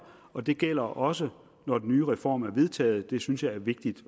og det gælder også når den nye reform er vedtaget det synes jeg er vigtigt